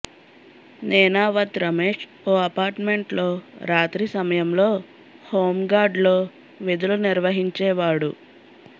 నేనావత్ రమేష్ ఓ అపార్ట్మెంట్లో రాత్రి సమయంలో హోంగార్డ్లో విధులు నిర్వహించే వాడు